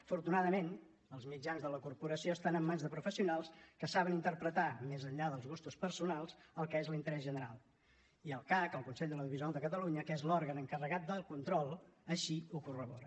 afortunadament els mitjans de la corporació estan en mans de professionals que saben interpretar més enllà dels gustos personals el que és l’interès general i el cac el consell de l’audiovisual de catalunya que és l’òrgan encarregat del control així ho corrobora